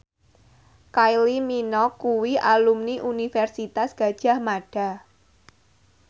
Kylie Minogue kuwi alumni Universitas Gadjah Mada